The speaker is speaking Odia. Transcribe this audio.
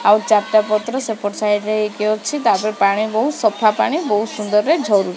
ଆଉ ଚାରଟା ପତ୍ର ସେପଟ ସାଇଡ ରେ ହେଇକି ଅଛି ତାପେର ପାଣି ବହୁ ସଫା ପାଣି ବହୁତ ସୁନ୍ଦରରେ ଝରୁ --